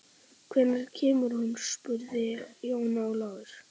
Hvenær kemur hún spurði Jón Ólafur.